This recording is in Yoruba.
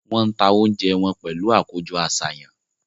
Wọ́n ń ta oúnjẹ wọn pẹ̀lú àkójọ-àṣàyàn.